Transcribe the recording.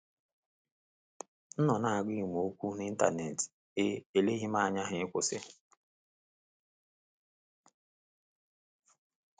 M nọ na agụ ịma ọkwa n'internet, E eleghị m anya ha ịkwụsị